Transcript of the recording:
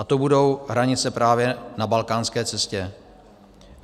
A to budou hranice právě na balkánské cestě.